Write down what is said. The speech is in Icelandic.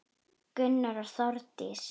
Gunnar og Þórdís.